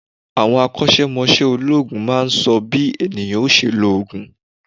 Àwọn akọ́sẹ́mọsẹ́ olóòògùn máa n sọ bí ènìyàn ó se lo òògùn